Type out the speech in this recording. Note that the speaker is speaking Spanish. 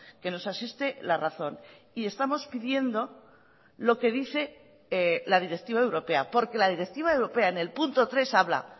que nos asiste la razón y estamos pidiendo lo que dice la directiva europea porque la directiva europea en el punto tres habla